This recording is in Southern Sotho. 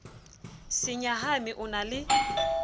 se nyahame o na le